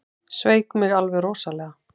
Sveik mig alveg rosalega.